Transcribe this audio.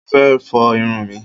Mo fẹ́ fọ irun mi.